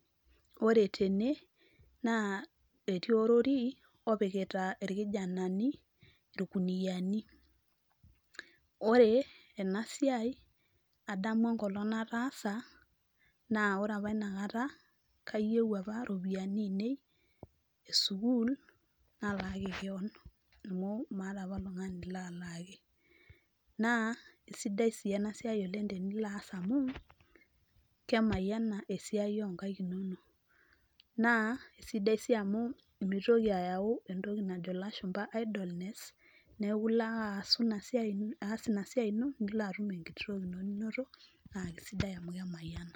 Ore tene naa etii orori opikita irkijanani ikuniani. Ore ena siai adamu enkolong nataasa naa ore apa inakata kayieu apa iropiyiani ainei esukuul nalaaki kewon amu meeta apa oltungani laaalaki . Naa isidai sii ena siai tenilo aas amu kemayiana esiai onkaik inonok. Naa isidai sii amu mitoki ayau entoki najo ilashumba idlleness niaku ilo ake aasu ina siai , aas ina siai ino nilo atum enkiti toki ino ninoto naa kisidai amu kemayiana.